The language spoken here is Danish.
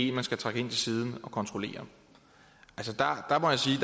en man skal trække ind til siden og kontrollere altså